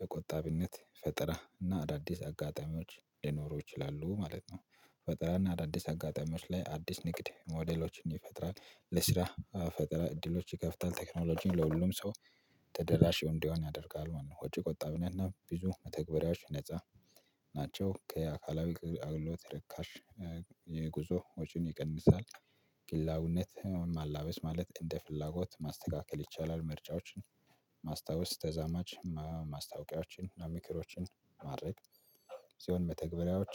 በቆጣቢነት ፈጠራ እና አዳዲስ አጋጣሚዎች ሊኖሩ ይችላሉ ማለት ነው። ፈጠራ እና አዳዲስ አጋጣሚዎች ላይ አዲስ ንግድ ሞዴሎችን ይፈጥራል ለስራ ፈጠራ እድሎች ይከፍታል ቴክኖሎጂን ለሁሉም ሰው ተደራሽ እንዲሆን ያደርጋል። ወይ ወጪ ቆጣቢነት እና ቢዙ ተግባራዎች ነፃ ናቸው። ከአካላዊ አገልግሎት ርካሽ የጉዞ ወጪን ይቀንሳል። ግላዊነት ማላበስ ማለት እንደ ፍላጎት ማስተካከል ይቻላል ምርጫዎችን ማስታወስ ተዛማጅ ማስታወቂያዎችን እና ምክሮችን ሲሆን መተግበሪያዎች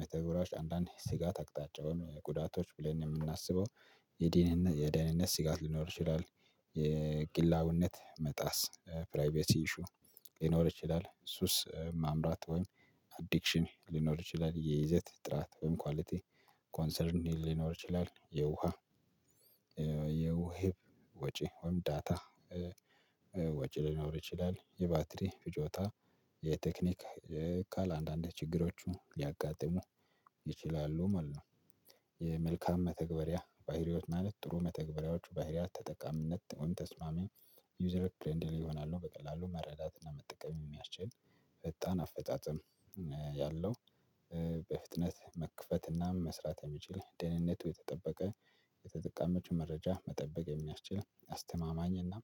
መተግበሪያዎች አንዳንዴ ስጋት አቅጣጫውን ጉዳቶች ብለን የምናስበው የደህንነት የደህንነት ስጋት ሊኖር ይችላል። የግላውነት መጣስ ፕራይቬሲ ኢሹ ሊኖር ይችላል ሱስ ማምራት ወይም አዲክሽን ሊኖር ይችላል የይዘት ጥራት ወይም ኳሊቲ ኮንሰርን ሊኖር ይችላል የውሃ የውሃ ወጪ ወይም ዳታ ወጪ ሊኖር ይችላል የባትሪ ፍጆታ የቴክኒክ ካል አንዳንድ ችግሮቹ ሊያጋጥሙ ይችላሉ ማለት ነው። የመልካም መተግበሪያ ባህሪዎች ማለት ጥሩ መተግበሪያዎቹ ባህሪያት ተጠቃሚነት ተስማሚ ዩዘር ፕሬንድሊ ይሆናሉ በቀላሉ መረዳትና መጠቀም የሚያስችል ፈጣን አፈጻጸም ያለው በፍጥነት መክፈትና መስራት የሚችል ደህንነቱ የተጠበቀ የተጠቃሚዎቹ መረጃ መጠበቅ የሚያስችል አስተማማኝና እና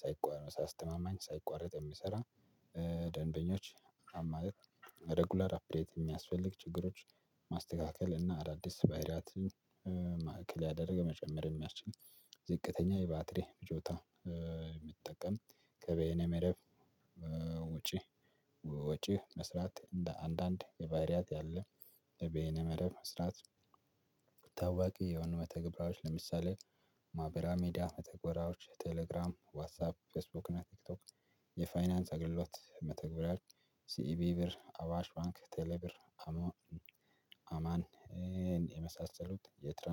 ሳይቆር አስተማማኝ ሳይቋረጥ የሚሰራ። ደንበኞች ማለት ረጉላር አፕዴት የሚያስፈልግ ችግሮች ማስተካከል እና አዳዲስ ባይሪያት ማዕከል ያደረገ መጨመርን የሚያስችል ዝቅተኛ የባትሪ ፍጆታ የሚጠቀም ከበየነ መረብ ወጪ ወጪ መስራት እንደ አንዳንድ የባይሪያት ያለ በኤንኤ መረብ መስራት ታዋቂ የሆኑ መተግበራዎች ለምሳሌ ማህበራዊ ሚዲያ መተግበራዎች ቴሌግራም ዋትሳፕ ፌስቡክ እና ቲክቶክ የፋይናንስ አገልግሎት መተግበሪያ ሲኢቢ ብር አዋሽ ባንክ ቴሌብር አማን የመሳሰሉት የትራንስ